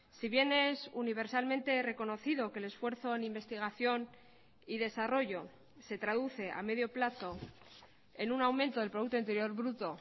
si bien es universalmente reconocido que el esfuerzo en investigación y desarrollo se traduce a medio plazo en un aumento del producto interior bruto